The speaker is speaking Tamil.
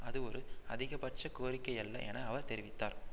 அதுவொரு அதிகபட்ச கோரிக்கையல்ல என அவர் தெரிவித்தார்